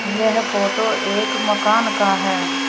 यह फोटो एक मकान का है।